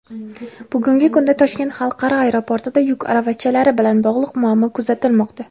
Bugungi kunda Toshkent xalqaro aeroportida yuk aravachalari bilan bog‘liq muammo kuzatilmoqda.